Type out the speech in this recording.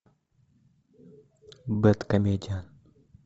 бэдкомедиан